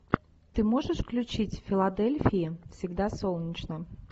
ты можешь включить в филадельфии всегда солнечно